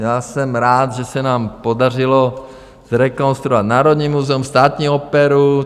Já jsem rád, že se nám podařilo zrekonstruovat Národní muzeum, Státní operu.